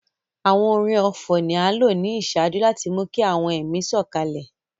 Àwọn orin ọfọ̀ ni a nlo ni iṣaaju láti mú ki àwọn ẹmi sòkalẹ̀